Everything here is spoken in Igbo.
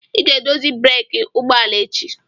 Ị ga-edozi breeki ụgbọ ala a echi.